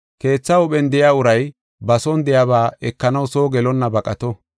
Keetha huuphen de7iya uray ba son de7iyaba ekanaw soo gelonna baqato.